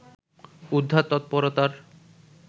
উদ্ধার তৎপরতার